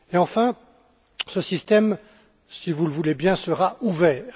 Enfin, ce système, si vous le voulez bien, sera ouvert.